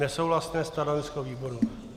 Nesouhlasné stanovisko výboru.